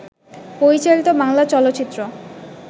পরিচালিত বাংলা চলচ্চিত্র